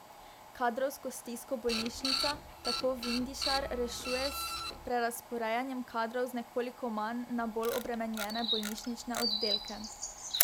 Kadrovsko stisko bolnišnica, tako Vindišar, rešuje s prerazporejanjem kadrov z nekoliko manj na bolj obremenjene bolnišnične oddelke.